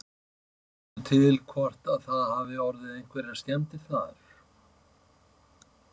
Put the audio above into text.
Veistu til hvort að það hafi orðið einhverjar skemmdir þar?